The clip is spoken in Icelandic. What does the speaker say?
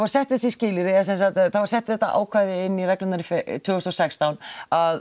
sett þessi skilyrði eða sem sagt það var sett þetta ákvæði inn í reglurnar tvö þúsund og sextán að